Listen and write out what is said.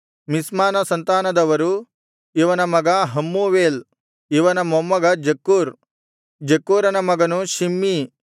ಮಿಷ್ಮಾನ ಸಂತಾನದವರು ಇವನ ಮಗ ಹಮ್ಮೂವೇಲ್ ಇವನ ಮೊಮ್ಮಗ ಜಕ್ಕೂರ್ ಜಕ್ಕೂರನ ಮಗನು ಶಿಮ್ಮೀ